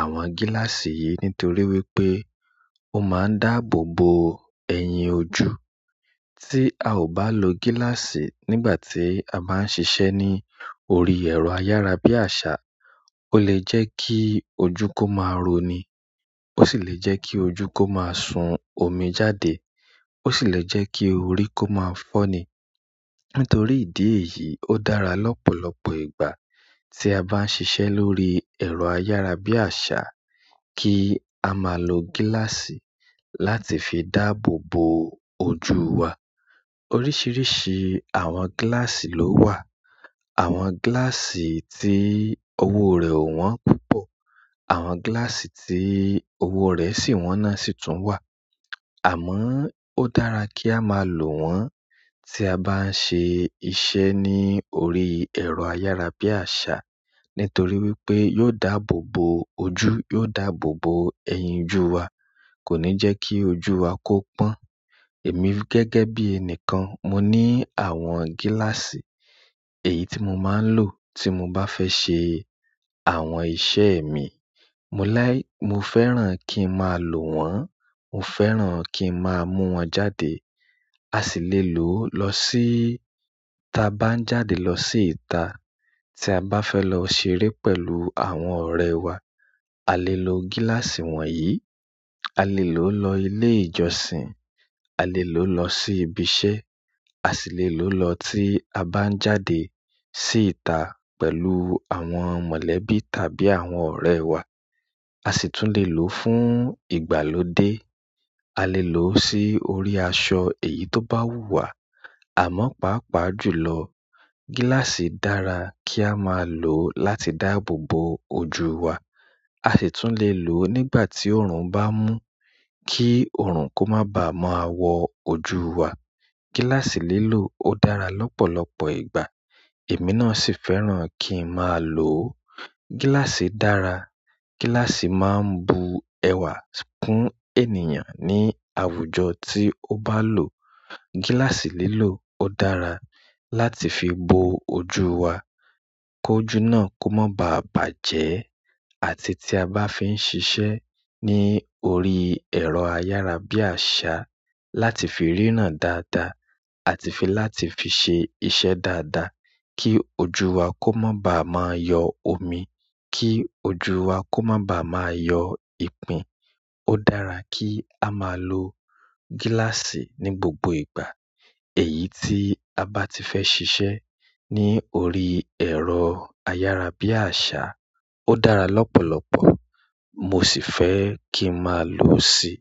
àwọn gíláàsì yìí nítorí wípé ó máa ń dáàbò bo ẹ̀yìn ojú. Tí a ò bá lo gíláàsì nígbà tí a máa ń ṣiṣẹ́ ní orí ẹ̀rọ ayárabíàṣá, ó lè jẹ́ kí ojú kó máa roní, ó sì lè jẹ́ kí ojú kó máa sun omi jáde, ó sì lè jẹ́ kí orí kó máa fọ́ni. Nítorí ìdí èyí, ó dára lọ́pọ̀lọpọ̀ ìgbà tí a bá ń ṣiṣẹ́ lórí ẹ̀rọ ayárabíàṣá kí a máa lo gíláàsì láti fi dáàbò bo ojú wa. Oríṣìíríṣìí àwọn gíláàsì ló wà. Àwọn gíláàsì tí owó rẹ̀ ò wọ́n púpọ̀, àwọn gíláàsì tí owó rẹ̀ sì wọ́n náà sì tún wà. Àmọ́ ó dára kí a máa lò wọ́n tí a bá ń ṣe iṣẹ́ ní orí ẹ̀rọ ayárabíàṣá nítorí wípé yóò dáàbò bo ojú, yóò dáàbò bo ẹ̀yìn ojú wa, kò ní jẹ́ kí ojú wa kó pọ́n. Èmi gẹ́gẹ́ bí ẹnìkan, mo ní àwọn gíláàsì èyí tí mo máa ń lò tí mo bá fẹ́ ṣe àwọn iṣẹ́ mi. Mo láì-- mo fẹ́ràn kí n máa lò wọ́n, mo fẹ́ràn kí n máa mú wọn jáde. A sì lè lò ó lọ síí. Tí a bá ń jáde lọ sí ìta, tí a bá fẹ́ lọ ṣeré pẹ̀lú àwọn ọ̀rẹ́ wa, a lè lo gíláàsì wọ̀nyí. A lè lò ó lọ ilé ìjọsìn, a lè lò ó lọ sí ibi iṣẹ́, a sì lè lò ó lọ tí a bá ń jáde sí ìta pẹ̀lú àwọn mọ̀lẹ́bí tàbí àwọn ọ̀rẹ́ wa. A sì tún lè lò ó fún ìgbàlódé. A lè lò ó sí orí aṣọ èyí tó bá wù wá. Àmọ́ pàápàá jùlọ, gíláàsì dára kí a máa lò ó láti dáàbò bo ojú wa. A sì tún lè lò ó nígbà tí òòrùn bá mú kí òòrùn kó má baà máa wọ̀ ojú wa. Gíláàsì lílò ó dára lọ́pọ̀lọpọ̀ ìgbà. Èmi náà sì fẹ́ràn kí n máa lò ó. Gíláàsì dára. Gíláàsì máa ń bu ẹwà kún ènìyàn ní àwùjọ tí ó bá lò. Gíláàsì lílò ó dára láti fi bo ojú wa kí ojú náà kí o máa baà bàjẹ́ àti tí a bá fi ń ṣiṣẹ́ ní orí ẹ̀rọ ayárabíàsá láti rínà dáadáa àti fi láti fi sè iṣẹ́ dáadáa kí ojú wa kó má baà máa yọ omi, kí ojú wa kó má baà máa yọ ìpín. Ó dára kí a máa lo gíláàsì ní gbogbo ìgbà èyí tí a bá ti fẹ́ ṣiṣẹ́ ní orí ẹ̀rọ ayárabíàṣá. Ó dára lọ́pọ̀lọpọ̀ mo sì fẹ́ kí n máa lò ó sì.